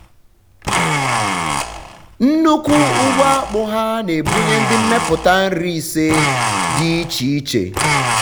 nnukwu ugbo akpụ ha na-ebunye ndị mmepụta nri ise dị iche iche.